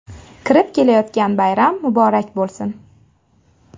Kirib kelayotgan bayram muborak bo‘lsin!